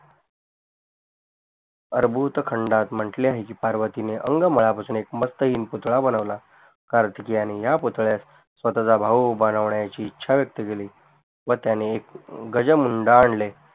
अरबुतखंडात म्हंटले आहे की पार्वतीने अंग मळा पासून एक मस्तहीन पुतळा बनवला कार्तिकयाने या पुतळ्यास स्वताचा भाऊ बनवण्याची ईछा व्यक्त केली व त्याने एक गजमून्ड आणले